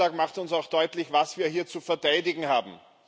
So ein Anschlag macht uns auch deutlich, was wir hier zu verteidigen haben.